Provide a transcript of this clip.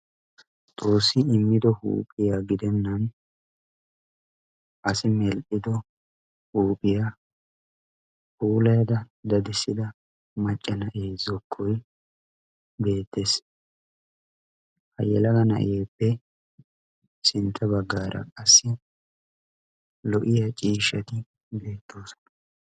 xoossi immido huuphiyaa gidennan asi meel"ido huuphiyaa huuleeda dadissida macca na'ee zokkoy beettees. hayyalaga na'eeppe sintta baggaara qassi lo"iya ciishshati beettoosana.